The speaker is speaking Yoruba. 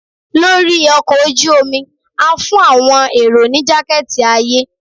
lori ọkọ oju omi, a fun awọn erò ni jaketi aye